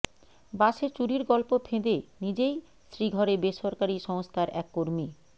বাসে চুরির গল্প ফেঁদে নিজেই শ্রীঘরে বেসরকারি সংস্থার এক কর্মী